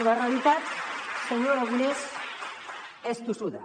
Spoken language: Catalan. la realitat senyor aragonès és tossuda